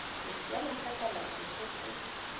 sekema sa kalafi se se